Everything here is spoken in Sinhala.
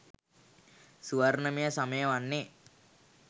ස්වර්ණමය සමය වන්නේ